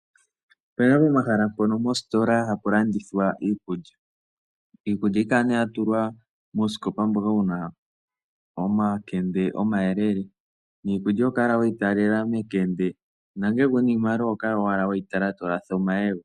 Opuna pomahala mpono mositola hapu landithwa iikulya. Iikulya ohayi kala nee ya tulwa muusikopa mboka wuna omakende omayelele, niikulya oho kala weyi talela mekende, nongele kuna iimaliwa oho kala owala weyi tala tolatha omayego.